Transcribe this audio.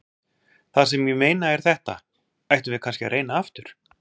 Það sem ég meina er þetta: Ættum við kannski að reyna aftur?